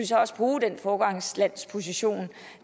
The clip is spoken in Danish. så også bruge den foregangslandsposition